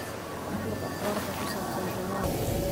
fur aqbaarta ku saabsan juma